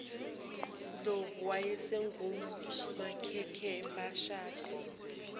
ndlovu owayesengumkakhe beshade